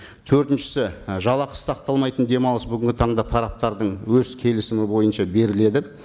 төртіншісі і жалақы сақталмайтын демалыс бүгінгі таңда тараптардың өз келісімі бойынша беріледі